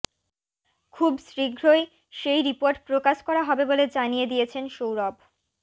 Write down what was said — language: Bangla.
খুব শীঘ্রই সেই রিপোর্ট প্রকাশ করা হবে বলে জানিয়ে দিয়েছেন সৌরভ